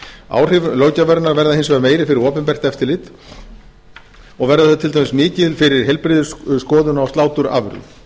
áhrif löggjafarinnar verða hins vegar meiri fyrir opinbert eftirlit og verða þau til dæmis mikil fyrir heilbrigðisskoðun á sláturafurðum